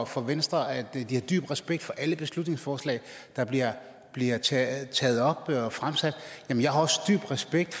for venstre at de har dyb respekt for alle beslutningsforslag der bliver taget op og fremsat men jeg har også dyb respekt